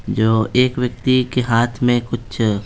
जो एक व्यक्ति के हाथ में कुछ---